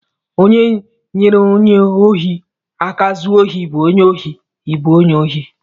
Onye nyere onye ohi aka zuo ohi bụ onye ohi, I bụ onye ohi!